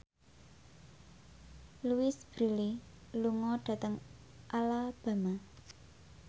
Louise Brealey lunga dhateng Alabama